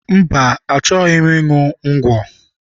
Mba, achoghi m ịṅụ ngwọ.